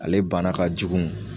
Ale bana kajugu.